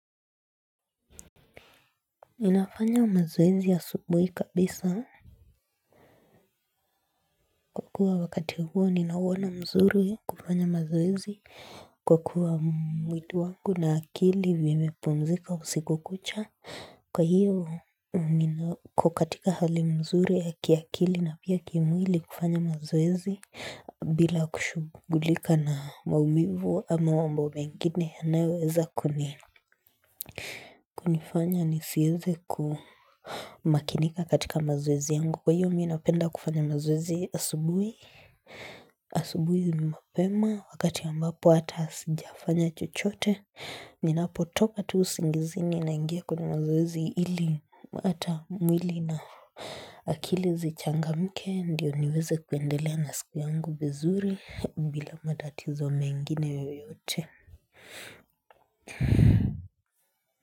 Ninafanya mazoezi asubuhi kabisa. Kwa kuwa wakati huo ni nawona mzuri kufanya mazoezi kwa kuwa mwili wangu na akili vimepumzika usiku kucha. Kwa hiyo, niko katika hali mzuri ya kiakili na pia kimwili kufanya mazoezi bila kushughulika na maumivu ama mambo mengine yanayoweza kunifanya nisiweze kumakinika katika mazoezi yangu. Kwa hiyo mimi napenda kufanya mazoezi asubui. Asubuhi na mapema. Wakati ambapo hata sijafanya chochote. Ninapotopa tu usingizini naingia kwenye mazoezi ili. Hata mwili na. Akili zichangamke ndio niweze kuendelea na siku yangu vizuri. Bila matatizo mengine yoyote.